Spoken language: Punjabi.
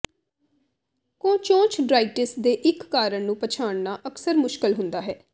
ਕੋਂਚੋਚਡਰਾਇਟਿਸ ਦੇ ਇੱਕ ਕਾਰਨ ਨੂੰ ਪਛਾਣਨਾ ਅਕਸਰ ਮੁਸ਼ਕਲ ਹੁੰਦਾ ਹੈ